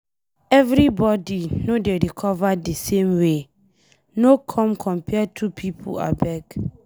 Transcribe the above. Everybody no dey recover di same way, no come compare two pipo abeg.